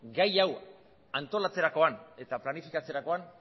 gai hau antolatzerakoan eta planifikatzerakoan